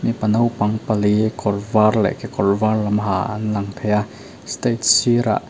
mipa naupang pali kawr var leh kekawr var lam ha an lang thei a stage sir ah--